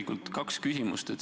Mul on kaks küsimust.